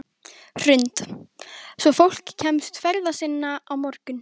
Hrund: Svo fólk kemst ferða sinna á morgun?